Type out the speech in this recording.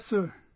Yes sir